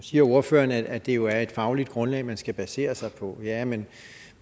siger ordføreren at det jo er et fagligt grundlag man skal basere sig på ja men